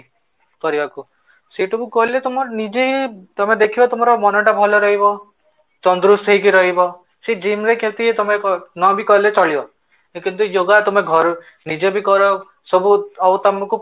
କରିବାକୁ ସେଇଠୁ ମୁଁ କହିଲି ତମର ନିଜେ ତମେ ଦେଖିବ ତମର ମନ ଟା ଭଲ ରହିବ ହେଇକି ରହିବ ସେ gym ରେ କେମିତି ତମେ ନ ବି କଲେ ଚଳିବ, କିନ୍ତୁ yoga ତମେ ଘରେ ନିଜେ ବି କର ସବୁ ଆଉ ତମକୁ